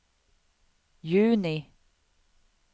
juni